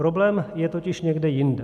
Problém je totiž někde jinde.